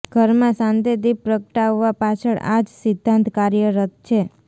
ઘરમાં સાંદે દીપ પ્રગટાવવા પાછળ આ જ સિદ્દાંત કાર્યરત છે